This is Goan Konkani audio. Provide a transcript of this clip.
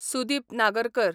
सुदीप नागरकर